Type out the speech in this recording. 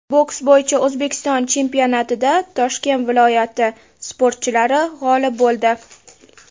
Boks bo‘yicha O‘zbekiston chempionatida Toshkent viloyati sportchilari g‘olib bo‘ldi.